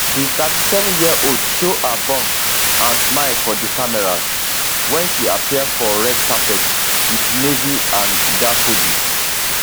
di 37yearold show her bump and smile for di cameras wen she appear for red carpet wit navy and daffodils